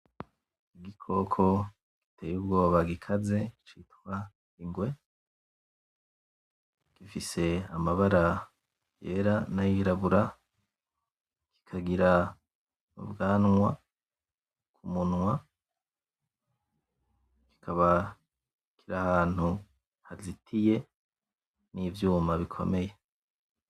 Igikoko giteye ubwoba gikaze citwa Ingwe. Gifise amabara yera n'ayirabura, kikagira n'ubwanwa ku munwa, kikaba kiri ahantu hazitiye n'ivyuma bikomeye.